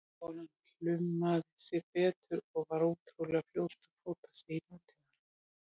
Konan plumaði sig betur og var ótrúlega fljót að fóta sig í nútímanum.